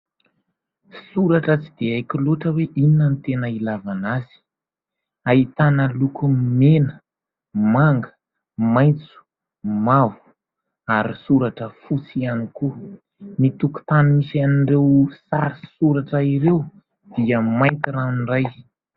Soratra tsy dia haiko loatra hoe inona ny tena ilavana azy. Ahitana loko mena, manga, maitso, mavo ary soratra fotsy ihany koa. Ny tokontany misy an'ireo sary sy soratra ireo dia mainty ranoray.